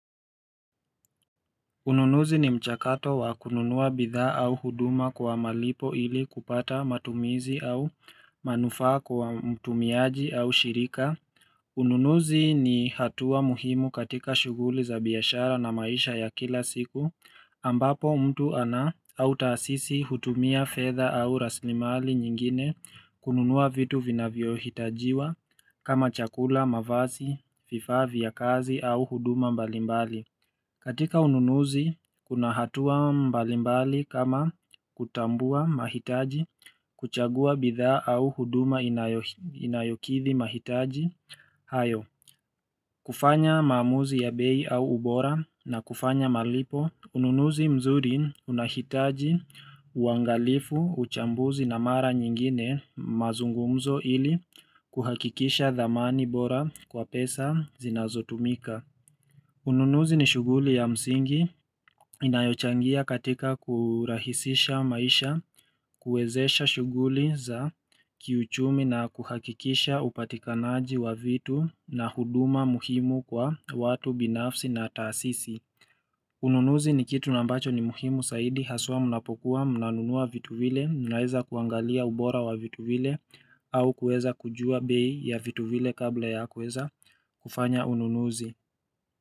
Ununuzi ni mchakato wa kununua bidhaa au huduma kwa malipo ili kupata matumizi au manufaa kwa mtumiaji au shirika. Ununuzi ni hatua muhimu katika shuguli za biashara na maisha ya kila siku ambapo mtu ana au taasisi hutumia fedha au rasilimali nyingine kununua vitu vinavyohitajiwa kama chakula, mavazi, vifaa, vya kazi au huduma mbalimbali. Katika ununuzi, kuna hatua mbalimbali kama kutambua mahitaji kuchagua bitha au huduma inayokithi mahitaji. Hayo, kufanya mamuzi ya bei au ubora na kufanya malipo, ununuzi mzuri unahitaji uangalifu uchambuzi na mara nyingine mazungumzo ili kuhakikisha dhamani bora kwa pesa zinazo tumika. Ununuzi ni shughuli ya msingi inayochangia katika kurahisisha maisha, kuwezesha shughuli za kiuchumi na kuhakikisha upatikanaji wa vitu na huduma muhimu kwa watu binafsi na taasisi. Ununuzi ni kitu na ambacho ni muhimu saidi haswa mnapokuwa mnunua vitu vile, mnaeza kuangalia ubora wa vitu vile au kuweza kujua bei ya vitu vile kabla ya kuweza kufanya ununuzi.